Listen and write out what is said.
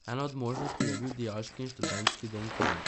Ena od možnosti je bil Dijaški in študentski dom Kranj.